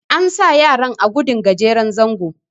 an sa yaran a gudun gajeren zango